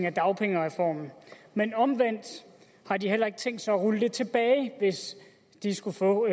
af dagpengereformen men omvendt har de heller ikke tænkt sig at rulle det tilbage hvis de skulle få